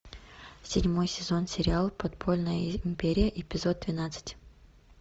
седьмой сезон сериал подпольная империя эпизод двенадцать